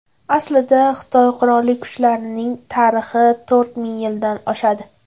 Aslida, Xitoy qurolli kuchlarining tarixi to‘rt ming yildan oshadi.